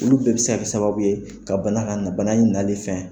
Olu bɛɛ bi se ka kɛ sababu ye ka bana la na, bana in nali fɛ